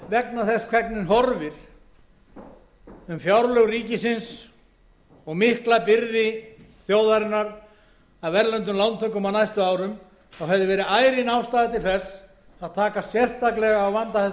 vegna þess hvernig horfir um fjárlög ríkisins og mikla byrði þjóðarinnar af erlendum lántökum á næstu árum hefði verið ærin ástæða til þess að taka sérstaklega á vanda þessara stofnana